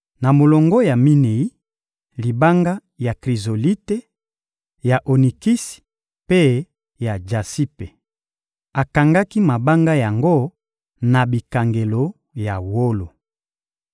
na molongo ya minei, libanga ya krizolite, ya onikisi mpe ya jasipe. Akangaki mabanga yango na bikangelo ya wolo.